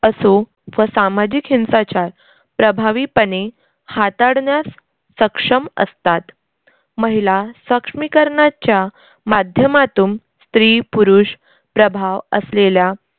असो व सामाजिक हिंसाचार प्रभावीपणे हाताळण्यास सक्षम असतात. महिला सक्षमीकरनाच्या माध्यमातून स्त्री-पुरुष प्रभाव असलेल्या